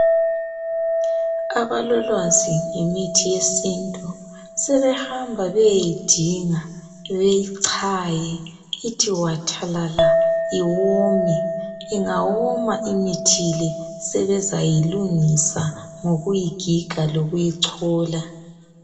Abalolwazi ngemithi yesintu sebehamba beyeyidinga beyichaye ithi wathalala iwome ingawoma imithi le sebezayilungisa ngokuyigiga lokuyichola